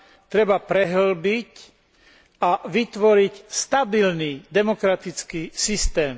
treba prehĺbiť a vytvoriť stabilný demokratický systém.